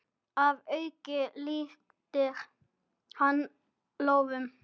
Að auki lyftir hann lóðum.